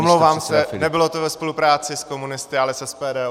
Omlouvám se, nebylo to ve spolupráci s komunisty, ale s SPD.